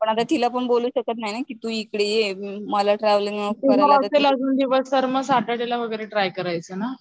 पण आता तिलापण बोलू शकत नाही ना कि तू इकडे ये मला ट्रॅव्हललिंग